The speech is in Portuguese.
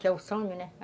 Que é o som, né?